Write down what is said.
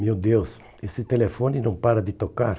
Meu Deus, esse telefone não para de tocar.